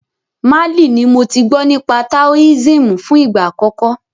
Málì ní mo tí gbọ́ nípa Taoism fún ìgbà àkọ́kọ́.